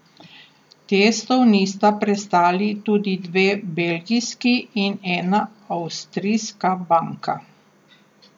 Testov nista prestali tudi dve belgijski in ena avstrijska banka.